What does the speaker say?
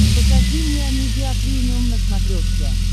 покажи мне амедиа премиум на смотрешке